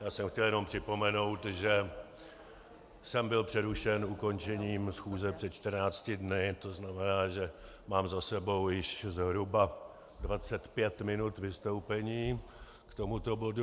Já jsem chtěl jenom připomenout, že jsem byl přerušen ukončením schůze před 14 dny, to znamená, že mám za sebou již zhruba 25 minut vystoupení k tomuto bodu.